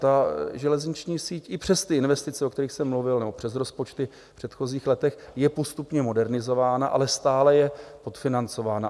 Ta železniční síť i přes ty investice, o kterých jsem mluvil, nebo přes rozpočty v předchozích letech, je postupně modernizována, ale stále je podfinancována.